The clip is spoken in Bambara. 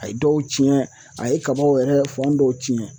A ye dɔw cɛn a ye kabaw yɛrɛ fan dɔw tiɲɛ.